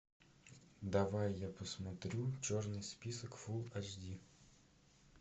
давай я посмотрю черный список фул эйч ди